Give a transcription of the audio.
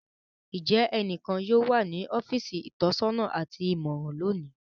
Njẹ ẹnikan yóò wa ni ọfiisi itọsọna ati imọran loni?